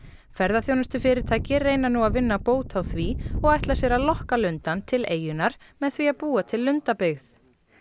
ferðaþjónustufyrirtæki reyna nú að vinna bót á því og ætla sér að lokka lundann til eyjunnar með því að búa til lundabyggð